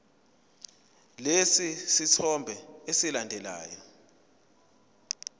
lesi sithombe esilandelayo